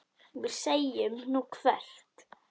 Við segjum: Nú, hvert?